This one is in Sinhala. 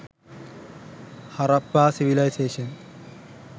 harappa civiliation